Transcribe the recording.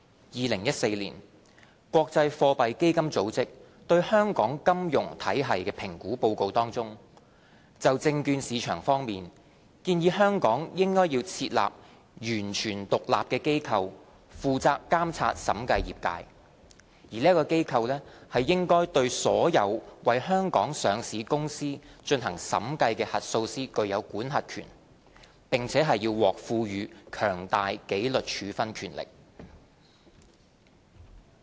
2014年，國際貨幣基金組織對香港金融體系評估的報告當中，就證券市場方面，建議香港應設立"完全獨立的機構，負責監察審計業界"，而該機構"應對所有為香港上市公司進行審計的核數師具有管轄權"，並獲賦予"強大紀律處分權力"。